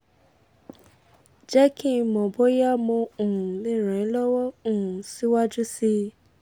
jẹ́ kí n mọ̀ bóyá mo um lè ràn ẹ́ lọ́wọ́ um síwájú sí i